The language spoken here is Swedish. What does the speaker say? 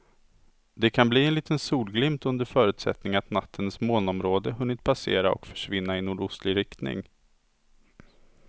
Det kan bli en liten solglimt under förutsättning att nattens molnområde hunnit passera och försvinna i nordostlig riktning.